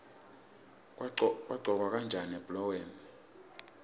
kuqhokwa kanjani ebholeni